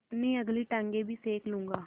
अपनी अगली टाँगें भी सेक लूँगा